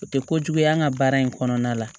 O tɛ kojugu ye an ka baara in kɔnɔna la